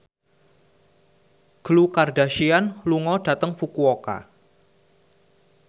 Khloe Kardashian lunga dhateng Fukuoka